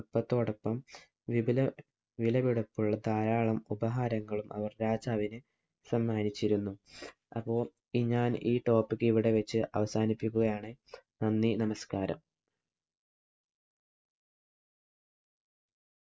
കപ്പത്തോടൊപ്പം വിപുല വിലപിടിപ്പുള്ള ധാരാളം ഉപഹാരങ്ങളും അവര്‍ രാജാവിന്‌ സമ്മാനിച്ചിരുന്നു. അപ്പൊ ഈ ഞാന്‍ ഈ topic ഇവിടെ വച്ച് അവസാനിപ്പികുകയാണ്. നന്ദി, നമസ്കാരം.